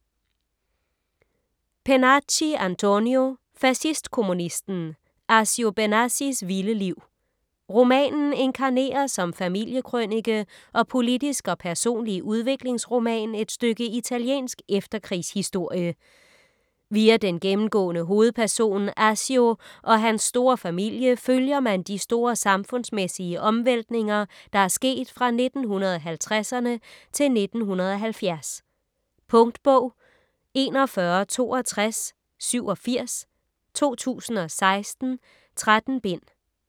Pennacchi, Antonio: Fascistkommunisten: Accio Benassis vilde liv Romanen inkarnerer som familiekrønike og politisk og personlig udviklingsroman et stykke italiensk efterkrigshistorie. Via den gennemgående hovedperson Accio og hans store familie følger man de store samfundsmæssige omvæltninger, der er sket fra 1950'erne til 1970. Punktbog 416287 2016. 13 bind.